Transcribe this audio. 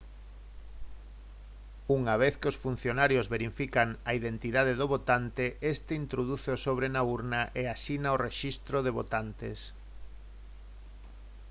unha vez que os funcionarios verifican a identidade do votante este introduce o sobre na urna e asina o rexistro de votantes